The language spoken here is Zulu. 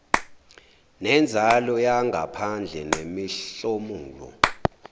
nenzalo yangaphandle nemihlomulo